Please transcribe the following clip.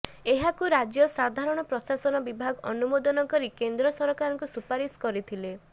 ଏହାକୁ ରାଜ୍ୟ ସାଧାରଣ ପ୍ରଶାସନ ବିଭାଗ ଅନୁମୋଦନ କରି କେନ୍ଦ୍ର ସରକାରଙ୍କୁ ସୁପାରିଶ କରିଥିଲେ